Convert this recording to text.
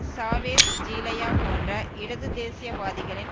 Chavez ஜீலயா போன்ற இடது தேசிய வாதிகளின்